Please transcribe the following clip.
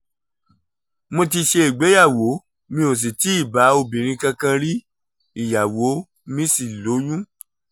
mo ti ṣègbéyàwó mi ò sì ti bá obìnrin kankan rí ìyàwó mi sì lóyún